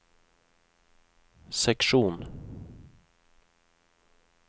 seksjon